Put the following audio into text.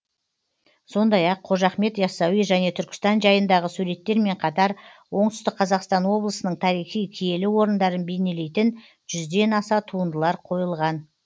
сондай ақ қожа ахмет ясауи және түркістан жайындағы суреттермен қатар оңтүстік қазақстан облысының тарихи киелі орындарын бейнелейтін жүзден аса туындылар қойылған